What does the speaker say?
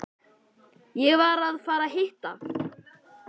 Ég var að fara að hitta